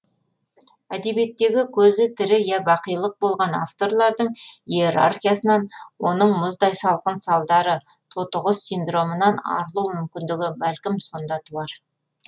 әдебиеттегі көзі тірі я бақилық болған авторлардың иерархиясынан оның мұздай салқын салдары тотықұс синдромынан арылу мүмкіндігі бәлкім сонда туар